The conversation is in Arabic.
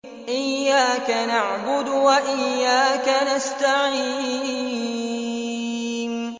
إِيَّاكَ نَعْبُدُ وَإِيَّاكَ نَسْتَعِينُ